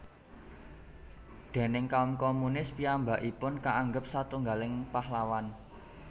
Déning kaum komunis piyambakipun kaanggep satunggiling pahlawan